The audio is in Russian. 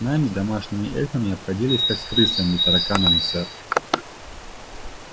нами домашними эльфами обходились как с крысами и тараканами сэр